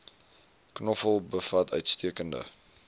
knoffel bevat uitstekende